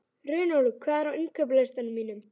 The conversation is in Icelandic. Runólfur, hvað er á innkaupalistanum mínum?